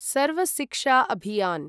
सर्व शिक्षा अभियान्